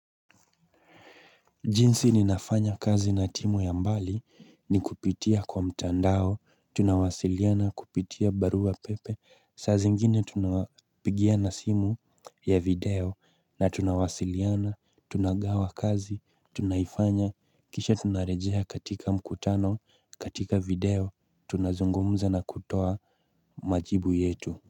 Jinsi ninafanya kazi na timu ya mbali ni kupitia kwa mtandao, tunawasiliana kupitia barua pepe, saa zingine tunawapigia na simu ya video na tunawasiliana, tunagawa kazi, tunaifanya, kisha tunarejea katika mkutano, katika video, tunazungumza na kutoa majibu yetu.